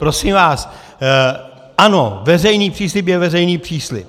Prosím vás, ano, veřejný příslib je veřejný příslib.